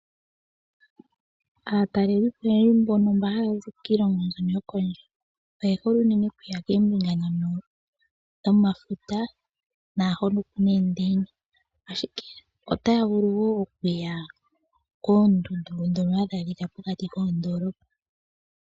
Aatalelipo unene mbono haa zi kiilongo mbyono yokondje oye hole unene okuya koombinga ndhono dhomafuta naahono ku na eendeyina, ashike otaya vulu wo okuya koondundu ndhono hadhi adhika pokati koondoolopa.